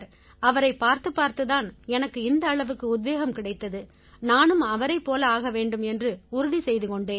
அவரைப் பார்த்துப்பார்த்துத் தான் எனக்கு இந்த அளவுக்கு உத்வேகம் கிடைத்தது நானும் அவரைப் போல ஆக வேண்டும் என்று உறுதி செய்து கொண்டேன்